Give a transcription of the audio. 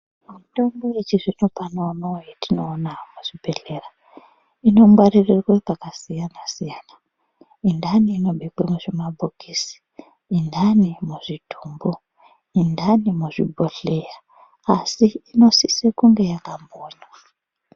Mitombo yechizvino pano uno yetinoona muzvibhedhlera inongwaririrwe pakasiyana-siyana, yendani inobekwe muzvimabhokisi, yendani muzvitumbu, yendani muzvibhodhleya asi inosise yakambonywaa.